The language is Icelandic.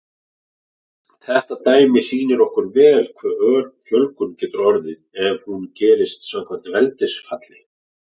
Þetta dæmi sýnir okkur vel hve ör fjölgun getur orðið ef hún gerist samkvæmt veldisfalli.